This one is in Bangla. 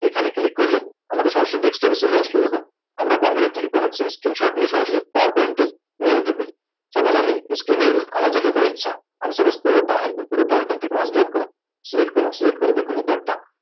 এখানে Click করলে আমাদের সরাসরি Dekstop এ চলে আসলো দেখুন আমরা Computer থেকে সরাসরি Screenshort নিয়ে সরাসরি PowerPoint এ তুলে দিতে পারি এবার আমি Screen এর আমার যেটুকু ইচ্ছা আমি Supose পুরোটা পুরোটা একদম এখান থেকে OneDrive করে Select করলাম Select করে দেখুন একটা